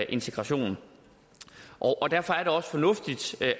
integrationen derfor er det også fornuftigt